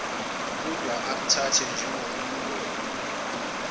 kudwa akuthathwe njengomgomo